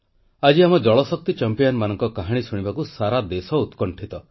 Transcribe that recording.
ଆଜି ଆମ ଜଳଶକ୍ତି ଚାମ୍ପିଆନ୍ସଙ୍କ କାହାଣୀ ଶୁଣିବାକୁ ସାରା ଦେଶ ଉତ୍କଣ୍ଠିତ